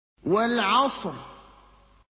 وَالْعَصْرِ